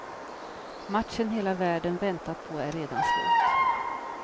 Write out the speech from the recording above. Matchen hela världen väntat på är redan slut.